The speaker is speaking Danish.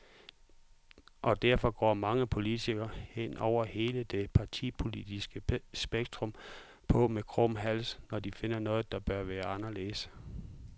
Og derfor går mange politikere, hen over hele det partipolitiske spektrum, på med krum hals, når de finder noget, der bør være anderledes.